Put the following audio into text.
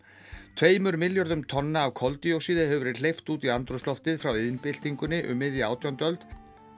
tveimur milljörðum tonna af koldíoxíði hefur verið hleypt út í andrúmsloftið frá iðnbyltingunni um miðja átjándu öld